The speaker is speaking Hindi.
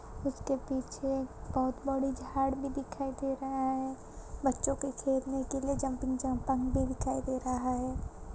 इसके पीछे बहुत बड़ी झाड़ भी दिखाई दे रहा है बच्चों के खेलने के लिए जंपिंग जम्पाक भी दिखाई दे रहा है ।